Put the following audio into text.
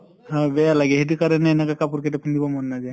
হয় বেয়া লাগে সেইটো কাৰণে এনেকে কাপোৰ কেটা পিন্ধিব মন নাযায়।